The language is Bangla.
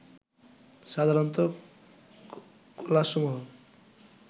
সাধারণত কলাসমূহ